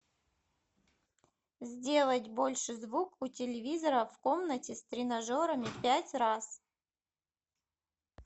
сделать больше звук у телевизора в комнате с тренажерами пять раз